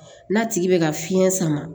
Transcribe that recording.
N'a tigi bɛ ka fiɲɛ sama